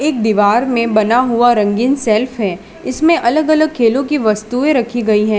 एक दीवार में बना हुआ रंगीन सेल्फ है इसमें अलग अलग खेलों की वस्तुएं रखी गई हैं।